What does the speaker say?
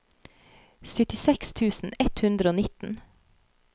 syttiseks tusen ett hundre og nitten